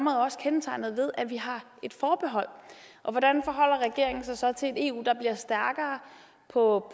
er også kendetegnet ved at vi har et forbehold hvordan forholder regeringen sig så til et eu der bliver stærkere på